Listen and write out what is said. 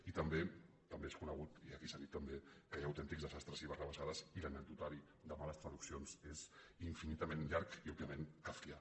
i també també és conegut i aquí s’ha dit també que hi ha autèntics desastres i barrabassades i l’anecdo·tari de males traduccions és infinitament llarg i òb·viament kafkià